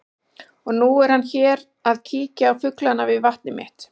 Og nú er hann hér að kíkja á fuglana við vatnið mitt.